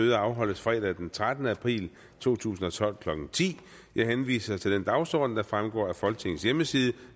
møde afholdes fredag den trettende april to tusind og tolv klokken ti jeg henviser til den dagsorden der fremgår af folketingets hjemmeside